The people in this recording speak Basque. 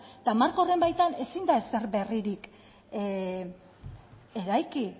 eta marko horren baitan ezin da ezer berririk eraiki